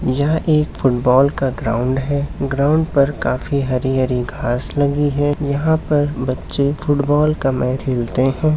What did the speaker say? यह एक फुटबॉल का ग्राउंड है। ग्राउंड पर काफ़ी हरी-हरी घास लगी है। यहाँ पर बच्चे फुटबॉल का मैच खेलते है।